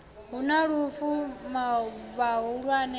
hu na lufu vhahulwane a